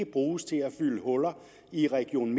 bruges til at fylde huller i region